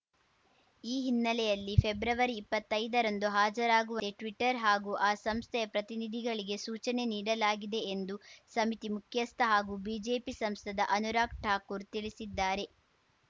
ಈ ಹಿನ್ನೆಲೆಯಲ್ಲಿ ಫೆಬ್ರವರಿಇಪ್ಪತ್ತೈದರಂದು ಹಾಜರಾಗು ಟ್ವೀಟರ್‌ ಹಾಗೂ ಆ ಸಂಸ್ಥೆಯ ಪ್ರತಿನಿಧಿಗಳಿಗೆ ಸೂಚನೆ ನೀಡಲಾಗಿದೆ ಎಂದು ಸಮಿತಿ ಮುಖ್ಯಸ್ಥ ಹಾಗೂ ಬಿಜೆಪಿ ಸಂಸದ ಅನುರಾಗ್‌ ಠಾಕೂರ್‌ ತಿಳಿಸಿದ್ದಾರೆ